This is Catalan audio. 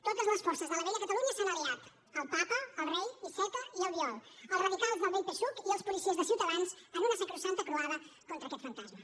totes les forces de la vella catalunya s’han aliat el papa el rei iceta i albiol els radicals del vell psuc i els policies de ciutadans en una sacrosanta croada contra aquest fantasma